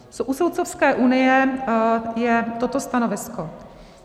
U Soudcovské unie je toto stanovisko.